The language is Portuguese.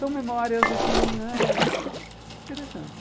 São memórias, assim, né, interessantes.